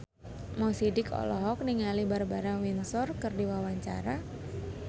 Mo Sidik olohok ningali Barbara Windsor keur diwawancara